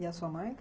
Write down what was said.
E a sua mãe ?